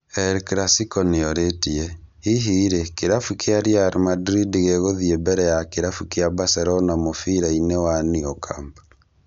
El Clasico nĩorĩtie, hihi rĩ kĩrabu kĩa Real Madrid gĩgũthiĩ mbere ya kĩrabu kĩa Barcelona mũbira-inĩ wa Nou Camp